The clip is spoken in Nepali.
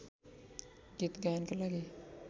गीत गायनका लागि